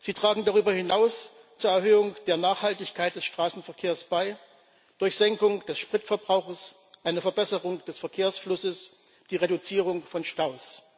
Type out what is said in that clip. Sie tragen darüber hinaus zur Erhöhung der Nachhaltigkeit des Straßenverkehrs bei durch Senkung des Spritverbrauchs, eine Verbesserung des Verkehrsflusses, die Reduzierung von Staus.